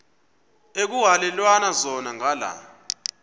ekuhhalelwana zona ngala